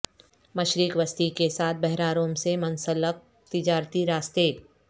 مشرق وسطی کے ساتھ بحیرہ روم سے منسلک تجارتی راستے